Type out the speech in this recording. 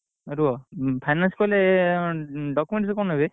ରୁଅ finance କଲେ document ସବୁ କଣ ନାଗେ?